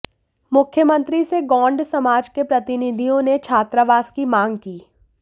मुख्यमंत्री से गोंड समाज के प्रतिनिधियों ने छात्रावास की मांग की